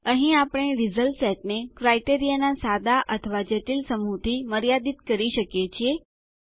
અહીં આપણે result set ને ક્રાઈટેરીયા માપદંડનાં સાદા અથવા જટિલ સમૂહ થી મર્યાદીત કરી શકીએ છીએ